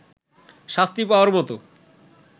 শাস্তি পাওয়ার মতো